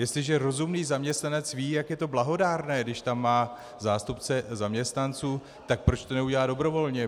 Jestliže rozumný zaměstnanec ví, jak je to blahodárné, když tam má zástupce zaměstnanců, tak proč to neudělá dobrovolně?